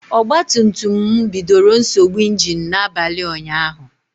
Ogba tum tum bidoro nsogbu ịnginu n'abalị ụnyaahụ